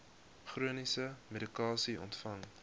chroniese medikasie ontvang